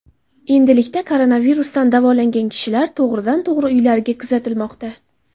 Endilikda koronavirusdan davolangan kishilar to‘g‘ridan to‘g‘ri uylariga kuzatilmoqda.